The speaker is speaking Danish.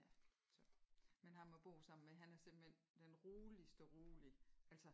Ja så men ham a bor sammen med han er simpelthen den roligste rolige altså